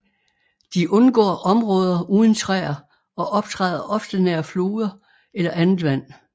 De undgår områder uden træer og optræder ofte nær floder eller andet vand